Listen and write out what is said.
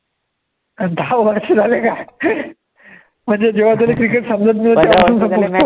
दहा वर्ष झाले का, म्हणजे जेव्हा तुले cricket समजतं नव्हती